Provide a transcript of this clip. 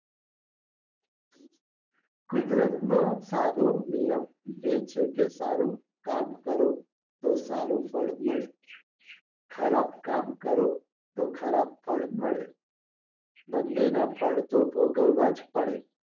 કુદરતનો સાદો નિયમ એ છે કે સારું કામ કરો તો સારું ફળ મળે ખરાબ કામ કરો તો ખરાબ ફળ મળે બંને ના ફળ તો ભોગવવા જ પડે